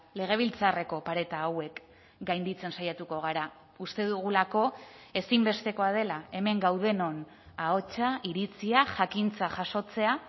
legebiltzarreko pareta hauek gainditzen saiatuko gara uste dugulako ezinbestekoa dela hemen gaudenon ahotsa iritzia jakintza jasotzea